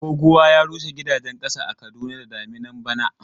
Goguwa ya rushe gidajen ƙasa a Kaduna da daminan bana.